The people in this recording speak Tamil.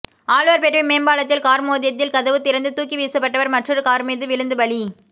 ஆழ்வார்பேட்டை மேம்பாலத்தில் கார் மோதியதில் கதவு திறந்து தூக்கி வீசப்பட்டவர் மற்றொரு கார் மீது விழுந்து பலி